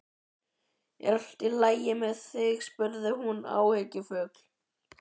Er allt í lagi með þig? spurði hún áhyggjufull.